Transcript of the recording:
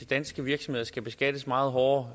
danske virksomheder skulle beskattes meget hårdere